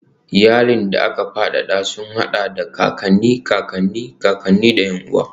Iyalan da aka fadada sun haɗa da kakanni, kakanni, kakanni, da ƴan uwa.